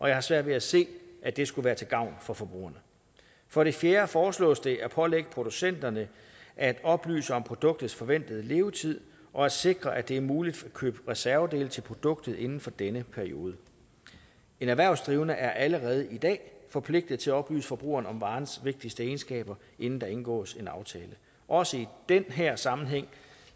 jeg har svært ved at se at det skulle være til gavn for forbrugerne for det fjerde foreslås det at pålægge producenterne at oplyse om produktets forventede levetid og at sikre at det er muligt at købe reservedele til produktet inden for denne periode en erhvervsdrivende er allerede i dag forpligtet til at oplyse forbrugeren om varens vigtigste egenskaber inden der indgås en aftale også i den her sammenhæng